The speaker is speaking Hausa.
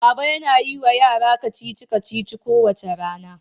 Baba yana yi wa yara kacici-kacici kowace rana.